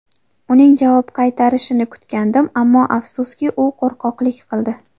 Uning javob qaytarishini kutgandim, ammo afsuski, u qo‘rqoqlik qildi.